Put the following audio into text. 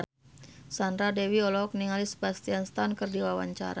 Sandra Dewi olohok ningali Sebastian Stan keur diwawancara